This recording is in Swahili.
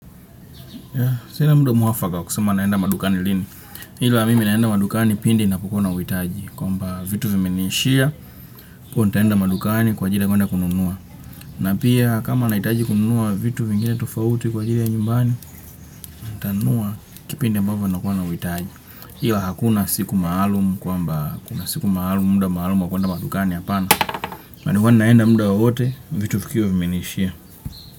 Sina muda mwafaka wa kusema naenda madukani lini. Ila mimi naenda madukani pindi ninapokuwa na uhitaji. Kwamba vitu vimeniishia kuwa nitaenda madukani kwa ajili ya kuenda kununua. Na pia kama nahitaji kununua vitu vingine tofauti kwa ajili ya nyumbani, nitanunua kipindi ambavyo nakuwa nauhiitaji. Iwa hakuna siku maalum kwamba kuna siku maalum, muda maalum wa kuenda madukani hapana. Madukani naenda muda wowote vitu vikiwa vimeniishia.